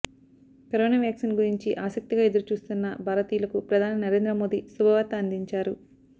corona vaccine గురించి ఆసక్తిగా ఎదురుచూస్తున్న భారతీయులకు ప్రధాని నరేంద్ర మోదీ శుభవార్త అందించారు